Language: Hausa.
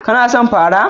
Kana son pafa?